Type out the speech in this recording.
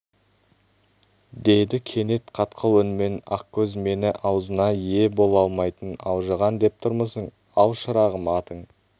деді кенет қатқыл үнмен ақкөз мені аузына ие бола алмайтын алжыған деп тұрмысың ал шырағым атың